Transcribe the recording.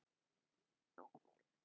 Við teljum okkur eiga möguleika